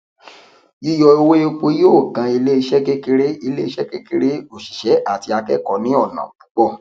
yíyọ owó epo yóò kan iléeṣé kékeré iléeṣé kékeré òṣìṣẹ àti akẹkọọ ní ònà púpọ